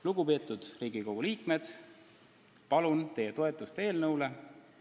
Lugupeetud Riigikogu liikmed, palun teie toetust eelnõule!